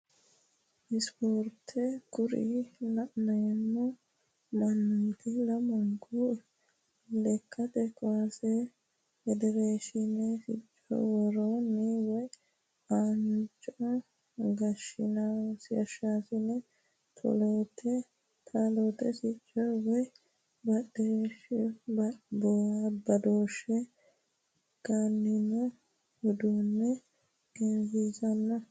ispoorte kuri la'neemo mannooti lamunku lekkate kaase federeshiine sicco worooni woye aanaho gagasinssa taloote sicco woye badooshshe ganooni uddano egensiisannino.